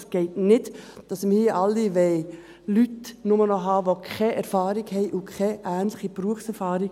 Es geht nicht, dass wir alle nur noch Leute haben wollen, die keine Erfahrung haben und keine ähnliche Berufserfahrung.